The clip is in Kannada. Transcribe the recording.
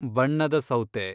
ಬಣ್ಣದ ಸೌತೆ